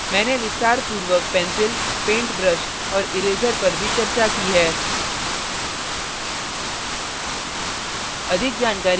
मैंने विस्तारपूर्वक pencil paint brush और इरेज़र पर भी चर्चा की है